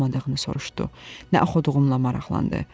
nə oxuduğunu soruşdu, nə oxuduğumla maraqlandı.